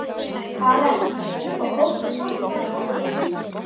Karen: Og fórstu og sástu hann fæðast?